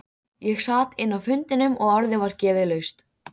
Hann lygndi augunum aftur þar sem hann sat.